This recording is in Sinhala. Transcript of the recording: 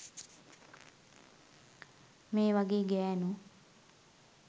මේ වගේ ගැණු